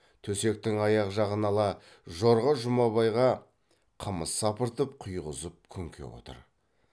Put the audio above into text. төсектің аяқ жағын ала жорға жұмабайға қымыз сапыртып құйғызып күнке отыр